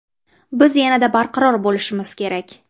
Biz yanada barqaror bo‘lishimiz kerak.